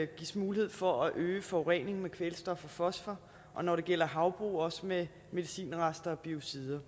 gives mulighed for at øge forureningen med kvælstof og fosfor og når det gælder havbrug også med medicinrester og biocider